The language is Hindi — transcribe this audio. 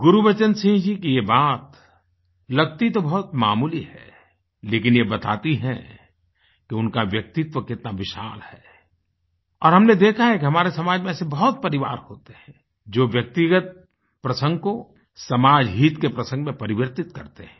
गुरबचन सिंह जी की ये बात लगती तो बहुत मामूली है लेकिन ये बताती है कि उनका व्यक्तित्व कितना विशाल है और हमने देखा है कि हमारे समाज में ऐसे बहुत परिवार होते हैं जो व्यक्तिगत प्रसंग को समाज हित के प्रसंग में परिवर्तित करते हैं